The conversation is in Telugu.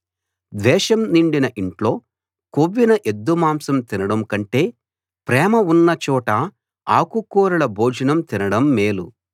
ద్వేషం నిండిన ఇంట్లో కొవ్విన ఎద్దు మాంసం తినడం కంటే ప్రేమ ఉన్న చోట ఆకుకూరల భోజనం తినడం మేలు